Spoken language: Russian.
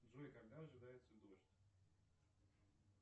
джой когда ожидается дождь